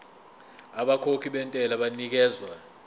abakhokhi bentela banikezwa